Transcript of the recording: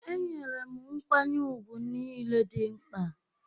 Enyere m nkwanye ùgwù niile dị mkpa